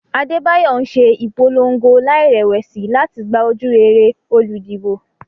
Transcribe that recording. Adebayo ń ṣe ìpolongo láìrẹ̀wẹ̀sì láti gba ojúrere olùdìbò.